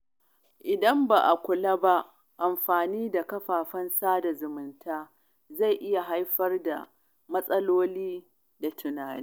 Idan ba a kula ba, amfani da kafafen sada zumunta zai iya haifar da matsaloli na tunani.